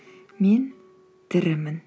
мен тірімін